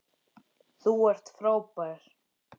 Þú ert frábær.